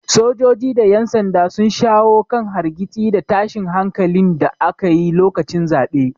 Sojoji da yan sanda sun shawo kan hargitsi da tashin hankalin da aka yi lokacin zaɓe.